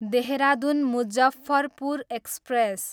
Dehradun, Muzaffarpur express